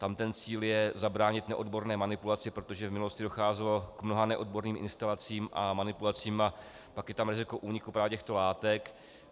Tam ten cíl je zabránit neodborné manipulaci, protože v minulosti docházelo k mnoha neodborným instalacím a manipulacím, a pak je tam riziko úniku právě těchto látek.